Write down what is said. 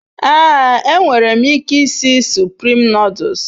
Ee, E nwerem ike isi Spirit noduls